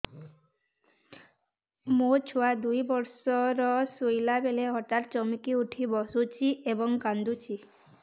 ମୋ ଛୁଆ ଦୁଇ ବର୍ଷର ଶୋଇଲା ବେଳେ ହଠାତ୍ ଚମକି ଉଠି ବସୁଛି ଏବଂ କାଂଦୁଛି